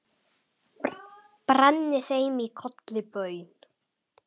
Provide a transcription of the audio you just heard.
brenni þeim í kolli baun